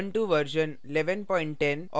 Ubuntu version 1110 और